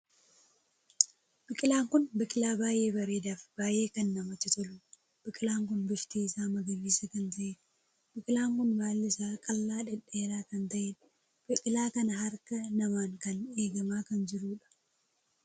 Biqilaan kun biqilaa baay'ee bareedaa fi baay'ee kan namatti toluudha. biqilaan kun bifti isaa magariisa kan taheedha. biqilaan kun baalli isaa qal'aa dhedheeraa kan taheedha. biqilaa kana harkaa namaan kan eegamaa kan jiruudha.